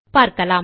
பார்க்கலாம்